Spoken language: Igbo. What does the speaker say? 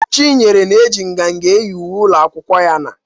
Chinyere na-eji nganga eyi uwe ụlọ akwụkwọ ya na.